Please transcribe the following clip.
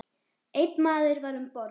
Einn maður var um borð.